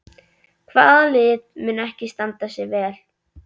Hvaða lið mun ekki standa sig vel?